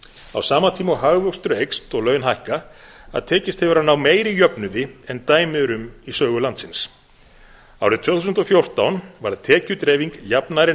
á sama tíma og hagvöxtur eykst og laun hækka að tekist hefur að ná meiri jöfnuði en dæmi eru um í sögu landsins árið tvö þúsund og fjórtán varð tekjudreifing jafnari en